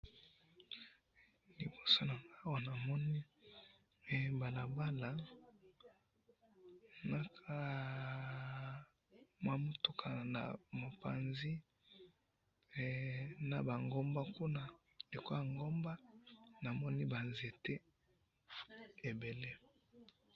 liboso nanga awa namoni hee balabala nakaaa hahah mwa mutuka naba panzi na mwa ngomba wana namoni naba nzete ebele.